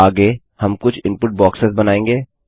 आगे हम कुछ इनपुट बॉक्सेस बनायेंगे